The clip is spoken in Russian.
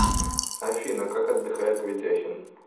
афина как отдыхает ведяхин